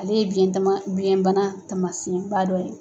Ale ye biyɛntama biyɛnbana tamasiɲɛba dɔ ye.